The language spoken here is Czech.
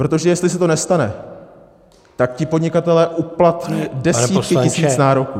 Protože jestli se to nestane, tak ti podnikatelé uplatní desítky tisíc nároků.